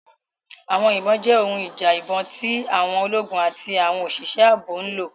Àwọn ìbọn jẹ́ ohun ìjà ìbọn tí àwọn ológun àti àwọn òṣìṣẹ́ ààbò ń lò.